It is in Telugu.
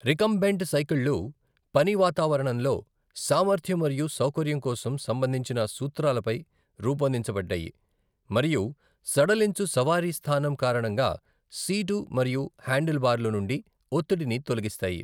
రికంబెంట్ సైకిళ్ళు, పని వాతావరణంలో సామర్థ్యం మరియు సౌకర్యం కోసం సంబంధించిన సూత్రాలపై రూపొందించబడ్డాయి మరియు సడలించు సవారీ స్తానం కారణంగా సీటు మరియు హ్యాండిల్ బార్లు నుండి ఒత్తిడిని తొలగిస్తాయి.